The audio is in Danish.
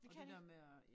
Det kan de ikke